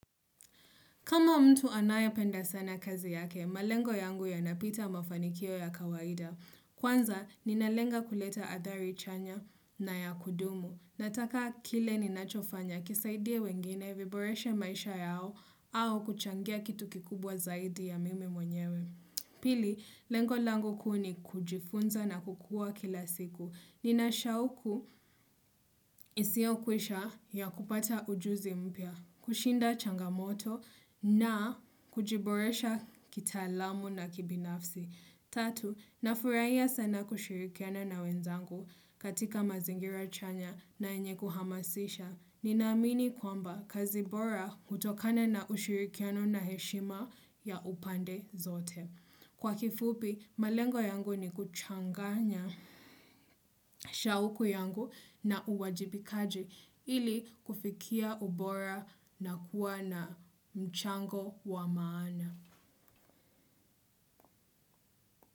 Kama mtu anayependa sana kazi yake, malengo yangu yanapita mafanikio ya kawaida. Kwanza, ninalenga kuleta athari chanya na ya kudumu. Nataka kile ninachofanya kisaidie wengine viboreshe maisha yao au kuchangia kitu kikubwa zaidi ya mimi mwenyewe. Pili, lengo langu kuu ni kujifunza na kukua kila siku. Ninashauku isiyokwisha ya kupata ujuzi mpya, kushinda changamoto na kujiboresha kitaalamu na kibinafsi. Tatu, nafurahia sana kushirikiana na wenzangu katika mazingira chanya na enye kuhamasisha. Ninamini kwamba kazi bora utokana na ushirikiano na heshima ya upande zote. Kwa kifupi, malengo yangu ni kuchanganya shauku yangu na uwajibikaji ili kufikia ubora na kuwa na mchango wa maana.